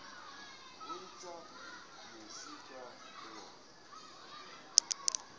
o ne a sa suthe